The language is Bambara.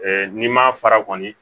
n'i ma fara kɔni